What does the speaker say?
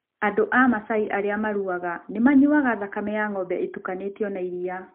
Andũ a Masai arĩa marũaga nĩ manyuaga thakame ya ng'ombe ĩtukanĩtio na iria.